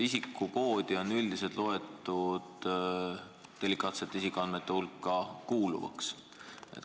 Isikukoodi peetakse üldiselt delikaatsete isikuandmete hulka kuuluvaks.